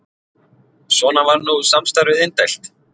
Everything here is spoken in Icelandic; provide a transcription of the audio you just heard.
Svona var nú samstarfið indælt.